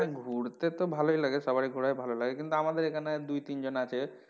ঘুরতে তো ভালোই লাগে সবার ই ঘুরায় ভালোই লাগে কিন্তু আমাদের এখানে দুই তিন জন আছে,